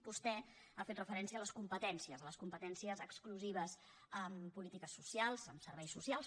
vostè ha fet referència a les competències a les competències exclusives en polítiques socials en serveis socials